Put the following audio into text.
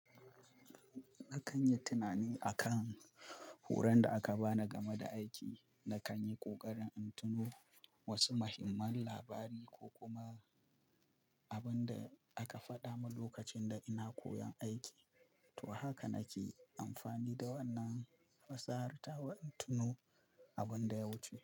Na ƙanyi tunani akan horon da aka bani game da aiki, na ƙanyi ƙoƙarin in tuno wasu muhimman labari ko kuma abin da aka faɗa min lokacin da ina koyon aiki. To, haka nake amfani da wannan fasahar tawa in tuno abin da ya wuce.